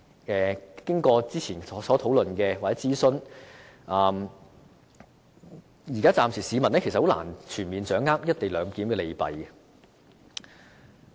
經過之前的討論和諮詢，市民暫時仍然難以全面掌握"一地兩檢"的利弊。